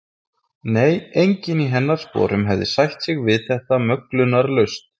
Nei, enginn í hennar sporum hefði sætt sig við þetta möglunarlaust.